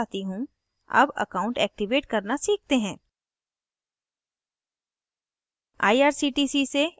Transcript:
मैं slide पर वापस आती हूँ अब account एक्टिवेट करना सीखते हैं